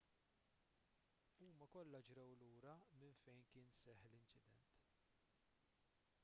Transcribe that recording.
huma kollha ġrew lura minn fejn kien seħħ l-inċident